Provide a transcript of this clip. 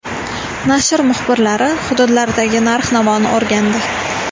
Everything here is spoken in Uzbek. Nashr muxbirlari hududlardagi narx-navoni o‘rgandi.